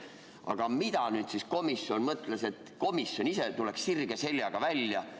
Aga mida nüüd komisjon mõtles, et komisjon ise tuleks sirge seljaga sealt välja?